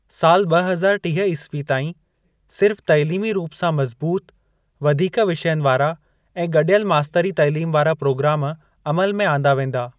साल ब॒ हज़ार टीह ई. ताईं, सिर्फ़ तइलीमी रूप सां मज़बूत, वधीक विषयनि वारा ऐं गडि॒यल मास्तरी तइलीम वारा प्रोग्राम अमल में आंदा वेंदा।